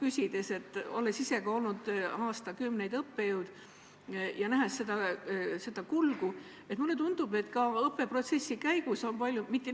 Olles ka ise aastakümneid õppejõud olnud ja näinud seda kulgu, mulle tundub, et õppeprotsessis on väga palju muutunud.